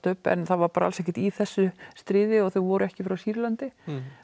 upp en það var alls ekki í þessu stríði og þau voru ekki frá Sýrlandi